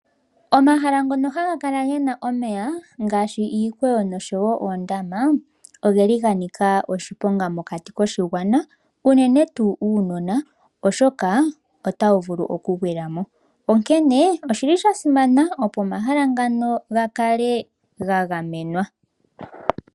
Omahala ngono haga kala gena omeya ngaashi iikweyo noshowo oondama ogeli ga nika oshiponga mokati koshigwana unene tuu uunona oshoka otawu vulu okugwila mo. Onkene oshili sha simana opo omahala ngano ga kale ga gamenwa.